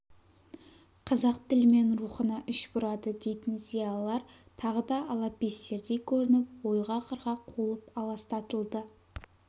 қазақ тілі мен рухына іш бұрады дейтін зиялылар тағы да алапестердей көрініп ойға-қырға қуылып аластатылды